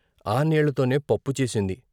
ఆ నీళ్ళతోనే పప్పుచేసింది.